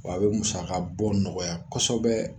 W'a be musakabɔ nɔgɔya kɔsɛbɛ.